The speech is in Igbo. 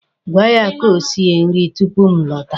Gwa ya ka o sie nri tupu m lọta.